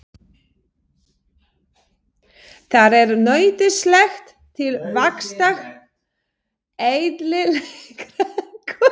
Það er nauðsynlegt til vaxtar, eðlilegrar beinmyndunar og tannbyggingar.